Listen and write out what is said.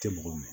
Tɛ mɔgɔ minɛ